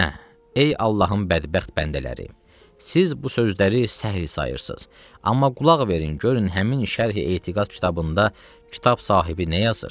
Hə, ey Allahın bədbəxt bəndələri, siz bu sözləri səhih sayırsınız, amma qulaq verin, görün həmin şərhi etiqad kitabında kitab sahibi nə yazır.